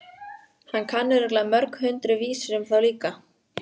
Hann kann örugglega mörg hundruð vísur um þá líka.